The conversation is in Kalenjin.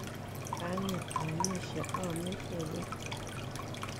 Kang'et aamishei , aamishei koi.